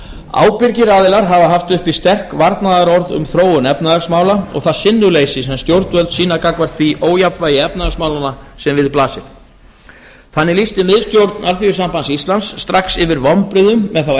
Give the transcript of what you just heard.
ábyrgir aðilar hafa haft uppi sterk varnaðarorð um þróun efnahagsmála og sinnuleysi sem stjórnvöld sýna gagnvart því ójafnvægi efnahagsmálanna sem við blasir þannig lýsti miðstjórn así strax yfir vonbrigðum með þá